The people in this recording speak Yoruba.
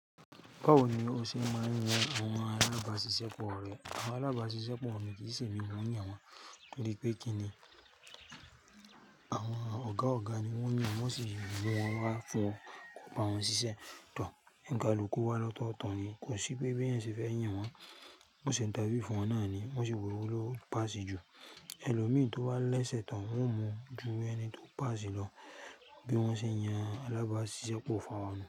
Báwo ni o ṣe máa ń yan àwọn alábàáṣiṣẹ́ pọ̀ rẹ? Àwọn alábáàṣiṣẹ́ pọ̀ mi kì í sì ní mo ń yàn wọ́n, nítorí pé kí ni àwọn ọ̀gá ọ̀gá ni wọ́n yàn, wọ́n sì mú wọn wá fún kò bá wọn ṣiṣẹ́ tán. Ǹkaluku wa lọ́tọ̀tọ̀ ni, kò sí pé bí ẹ̀yin ṣe fẹ́ yàn wọ́n, wọ́n se ińtafiu fun wọn náà ni, wọ́n sì wò wò ló pàṣi jù. Ẹlòmíràn tó wá lẹ́sẹ̀ tán, wọ́n mú ju ẹni tó pàṣẹ lọ, bí wọ́n ṣe yàn alábáàṣiṣẹ́ pọ̀ fún wa.